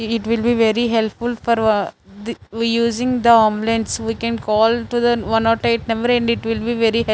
it will be very helpful for the we using the ambulance we can call to the one not eight number and it will be very --